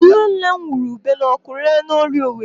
Nne nne m hụrụ ube n'ọkụ ree na Orie Owerri.